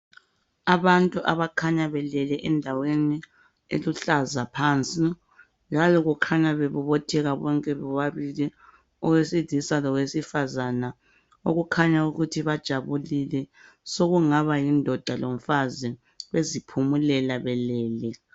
Abantu abakhanya belele endaweni eluhlaza phansi njalo kukhanya bebobothela bonke bobabili owesilisa lowesifazana. Okukhanya ukuthi bajabulile, sokungaba yindoda lomfazi beziphumulela belele.